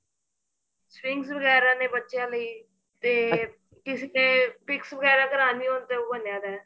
strings ਵਗੈਰਾ ਨੇ ਬੱਚਿਆਂ ਲਈ ਤੇ ਕਿਸੇ ਨੇ picture ਵਗੈਰਾ ਕਰਾਣੀਆਂ ਹੋਣ ਤਾਂ ਉਹ ਬਣਿਆ ਪਿਆ